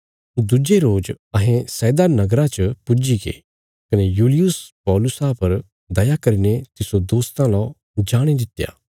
दुज्जे रोज अहें सैदा नगरा च पुज्जीगे कने यूलियुस पौलुसा पर दया करीने तिस्सो दोस्तां ला जाणे दित्या भई सै तिसरा सत्कार कित्या जाणा